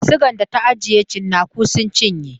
Sigan da ta ajiye tsinaku sun cinye.